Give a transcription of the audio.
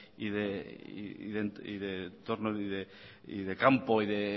y de entorno y de campo y de